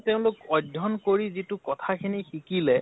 তেওঁলোক অধ্য়য়ণ কৰি যিটো কথা খিনি শিকিলে